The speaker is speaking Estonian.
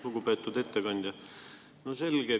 Lugupeetud ettekandja!